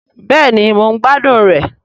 Bẹ́ẹ̀ni mò ń gbádùn rẹ̀